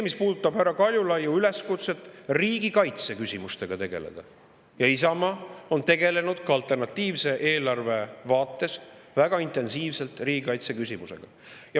Mis puudutab härra Kaljulaiu üleskutset riigikaitseküsimustega tegeleda, siis Isamaa on tegelenud ka alternatiivse eelarve vaates väga intensiivselt riigikaitseküsimusega.